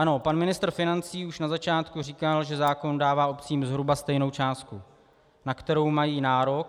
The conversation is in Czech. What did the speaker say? Ano, pan ministr financí už na začátku říkal, že zákon dává obcím zhruba stejnou částku, na kterou mají nárok.